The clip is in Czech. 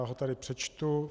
Já ho tady přečtu.